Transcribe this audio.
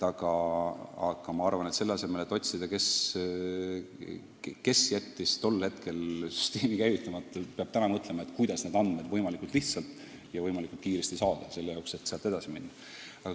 Aga selle asemel, et otsida, kes jättis tol ajal süsteemi käivitamata, peab minu arvates täna mõtlema, kuidas need andmed võimalikult lihtsalt ja võimalikult kiiresti kokku saada, et edasi minna.